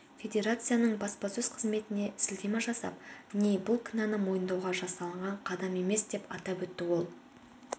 федерацияның баспасөз-қызметіне сілтеме жасап ни бұл кінәні мойындауға жасалынған қадам емес деп атап өтті ол